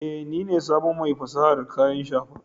Eh, ni ne sabon mai fasahar kayan shafa